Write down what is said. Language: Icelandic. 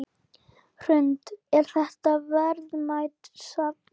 Hrund: Er þetta verðmætt safn?